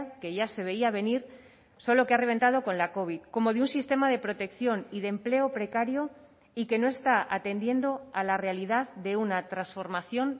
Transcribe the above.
que ya se veía venir solo que ha reventado con la covid como de un sistema de protección y de empleo precario y que no está atendiendo a la realidad de una transformación